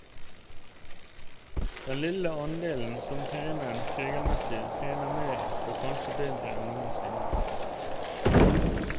Den lille andelen som trener regelmessig, trener mer og kanskje bedre enn noensinne.